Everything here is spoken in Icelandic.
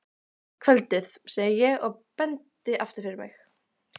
Kvöldið, segi ég og bendi aftur fyrir mig.